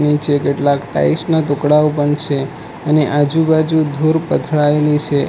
નીચે કેટલા ટાઈલ્સ ના ટુકડાઓ પણ છે એની આજુબાજુ ધૂર પથરાયેલી છે.